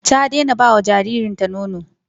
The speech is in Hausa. Ta daina ba jaririnta nono.